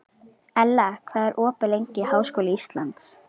Ella, hvað er opið lengi í Háskóla Íslands?